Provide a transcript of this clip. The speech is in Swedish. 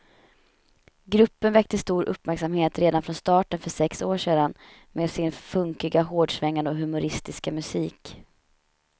Gruppen väckte stor uppmärksamhet redan från starten för sex år sedan med sin funkiga, hårdsvängande och humoristiska musik.